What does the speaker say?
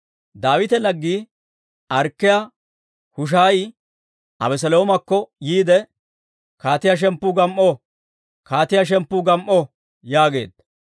Daawita laggii Arkkiyaa Hushaayi Abeseloomakko yiide, «Kaatiyaa shemppu gam"o! Kaatiyaa shemppu gam"o!» yaageedda.